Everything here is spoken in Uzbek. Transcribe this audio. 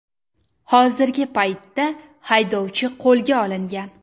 Hozirgi paytda haydovchi qo‘lga olingan.